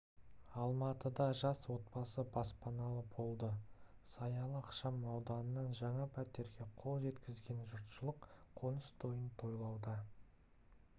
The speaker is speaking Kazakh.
алматыда жас отбасы баспаналы болды саялы ықшам ауданынан жаңа пәтерге қол жеткізген жұртшылық қоныс тойын тойлауда